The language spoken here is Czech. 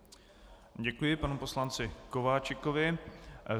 Děkuji panu poslanci Kováčikovi.